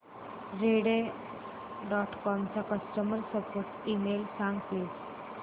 Rediff dot com चा customer support email सांग please